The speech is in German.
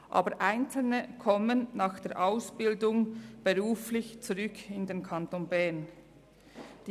Aber einzelne kommen nach der Ausbildung zurück in den Kanton Bern, um zu arbeiten.